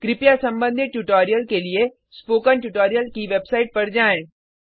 कृपया संबंधित ट्यूटोरियल के लिए स्पोकन ट्यूटोरियल की वेबसाइट पर जाएँ